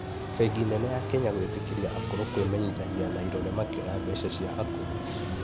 Bengi nene ya Kenya gwĩtĩkĩria akũrũ kwĩmenyithagia na irore makĩoya mbeca cĩa akũrũ